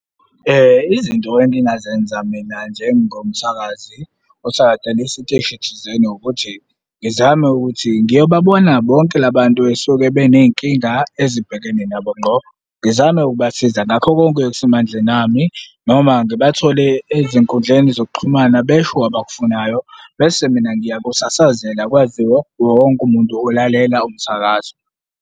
Izinto engingazenza mina njengomsakazi osadala isiteshi thizeni ukuthi ngizame ukuthi ngiyobabona bonke la bantu esuke beney'nkinga ezibhekene nabo ngqo. Ngizame ukubasiza ngakho konke okusemandleni ami noma ngibathole ezinkundleni zokuxhumana besho abakufunayo bese mina ngiyakusasazela kwaziwe iwowonke umuntu olalela umsakazo.